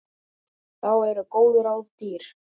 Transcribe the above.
Þá eru góð ráð dýr.